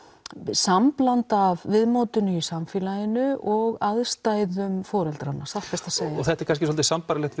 samblanda af viðmótinu í samfélaginu og aðstæðum foreldranna satt best að segja og þetta er kannski svolítið sambærilegt